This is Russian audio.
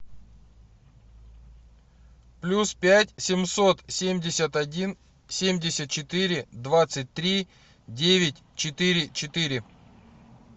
плюс пять семьсот семьдесят один семьдесят четыре двадцать три девять четыре четыре